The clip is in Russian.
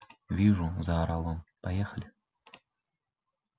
вижу заорал он поехали